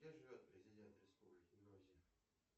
где живет президент республики грузия